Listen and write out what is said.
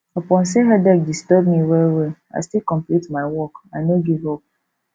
upon sey headache disturb me wellwell i still complete my work i no give up